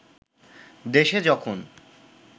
দেশে যখন